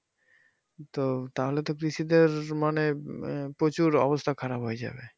তো তাহলে তো কৃষিতে মানে আহ প্রচুর অবস্থা খারাপ হয়ে যাবে।